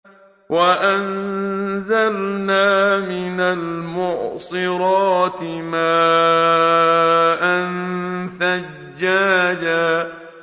وَأَنزَلْنَا مِنَ الْمُعْصِرَاتِ مَاءً ثَجَّاجًا